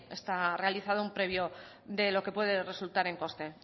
está realizado un previo de lo que puede resultar en coste